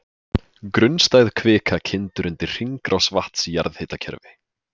Grunnstæð kvika kyndir undir hringrás vatns í jarðhitakerfi.